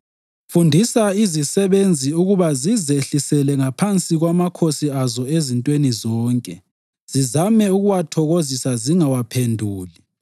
Fundisa izisebenzi ukuba zizehlisele ngaphansi kwamakhosi azo ezintweni zonke, zizame ukuwathokozisa, zingawaphenduli,